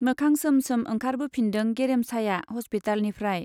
मोखां सोम सोम ओंखारबोफिनदों गेरेमसाया हस्पितालनिफ्राय।